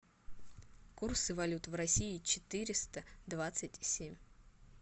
курсы валют в россии четыреста двадцать семь